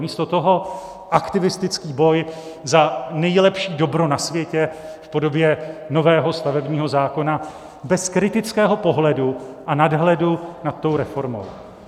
Místo toho aktivistický boj za největší dobro na světě v podobě nového stavebního zákona bez kritického pohledu a nadhledu nad tou reformou.